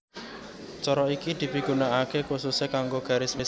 Cara iki dipigunakaké khususé kanggo garis munggah